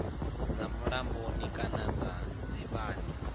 dza mulamboni kana dza dzivhani